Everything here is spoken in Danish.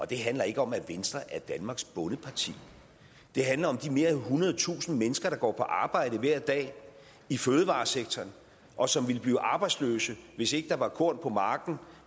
det handler ikke om at venstre er danmarks bondeparti det handler om mere end ethundredetusind mennesker der går på arbejde hver dag i fødevaresektoren og som ville blive arbejdsløse hvis ikke der var korn på marken